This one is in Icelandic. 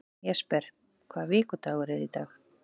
Jesper, hvaða vikudagur er í dag?